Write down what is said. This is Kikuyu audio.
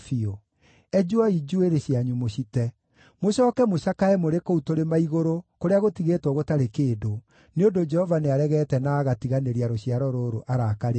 Enjwoi njuĩrĩ cianyu mũcite, mũcooke mũcakae mũrĩ kũu tũrĩma-igũrũ kũrĩa gũtigĩtwo gũtarĩ kĩndũ, nĩ ũndũ Jehova nĩaregete na agatiganĩria rũciaro rũrũ arakarĩire.